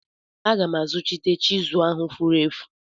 Aga m azuchite chizụl ahụ furu efu.